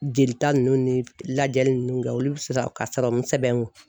Jelita ninnu ni lajɛli ninnu kɛ olu bi sɔrɔ ka sɛbɛn n kun.